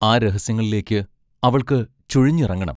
ആ രഹസ്യങ്ങളിലേക്ക് അവൾക്ക് ചുഴിഞ്ഞിറങ്ങണം.